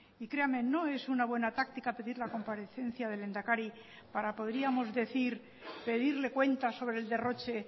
y créame no es una buena táctica pedir la comparecencia del lehendakari para podríamos decir pedirle cuentas sobre el derroche